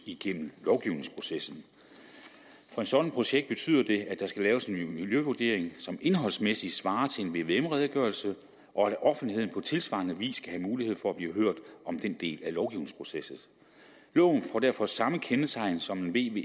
igennem lovgivningsprocessen for et sådant projekt betyder det at der skal laves en miljøvurdering som indholdsmæssigt svarer til en vvm redegørelse og at offentligheden på tilsvarende vis kan have mulighed for blive hørt om den del af lovgivningsprocessen loven får derfor samme kendetegn som en